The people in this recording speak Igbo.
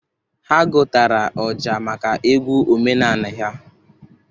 Ha gotara ọja maka egwu omenanị ha.